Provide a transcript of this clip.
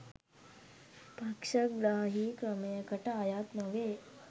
පක්ෂග්‍රාහී ක්‍රමයකට අයත් නොවේ